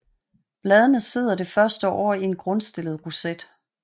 Bladene sidder det første år i en grundstillet roset